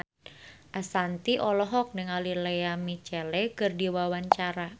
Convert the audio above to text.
Ashanti olohok ningali Lea Michele keur diwawancara